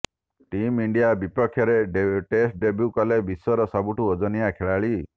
team India ବିପକ୍ଷରେ test debut କଲେ ବିଶ୍ୱର ସବୁଠୁ ଓଜନିଆ ଖେଳାଳି